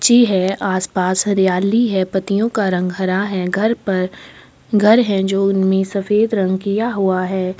अच्छी है आसपास हरियाली है पत्तियों का रंग हरा है घर पर घर है जो उनमें सफ़ेद रंग किया हुआ है ।